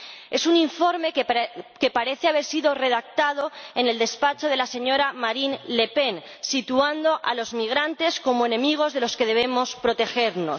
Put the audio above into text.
Es un informe que parece haber sido redactado en el despacho de la señora Le Pen, situando a los migrantes como enemigos de los que debemos protegernos.